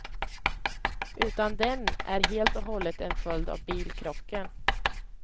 Utan den är helt och hållet en följd av bilkrocken.